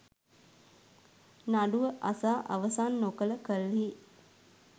නඩුව අසා අවසන් නොකළ කල්හි